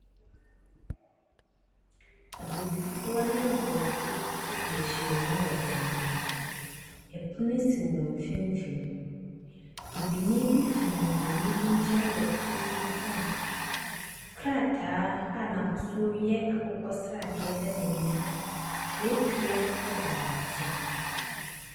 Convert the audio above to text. Abibifoɔ ne Aborɔfoɔ bi adi ahyia wɔ bi mu. Pono si wɔn mfimfini. Bibini bi gyina Bronin bi nkyɛn wɔ pono bi ho a krataa a n’ahosuo yɛ akokɔsradeɛ da n’anim, twerɛdua da ne nkyɛn.